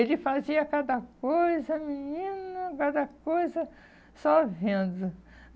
Ele fazia cada coisa, menina, cada coisa, só vendo.